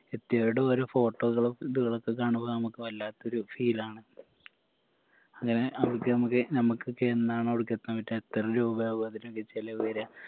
എത്തിയവരുടെ ഓരോ photo കളും ഇത്കളൊക്കെ കാണുമ്പോ നമക്ക് വല്ലാത്തൊരു feel ആണ് അങ്ങനെ അവർക്ക് ഞമ്മക്ക് ഞമ്മക്കൊക്കെ എന്നാണ് അവടക്ക് എത്താൻ പറ്റുക എത്ര രൂപയാകും അതിനുള്ള ചെലവ് വരിക